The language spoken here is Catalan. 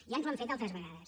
ja ens ho han fet altres vegades